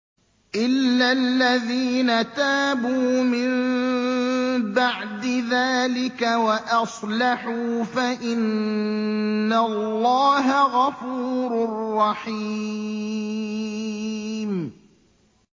إِلَّا الَّذِينَ تَابُوا مِن بَعْدِ ذَٰلِكَ وَأَصْلَحُوا فَإِنَّ اللَّهَ غَفُورٌ رَّحِيمٌ